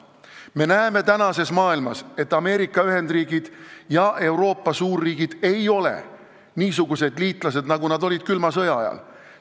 Me näeme tänases maailmas, et Ameerika Ühendriigid ja Euroopa suurriigid ei ole niisugused liitlased, nagu nad olid külma sõja ajal.